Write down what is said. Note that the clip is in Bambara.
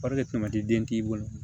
den k'i bolo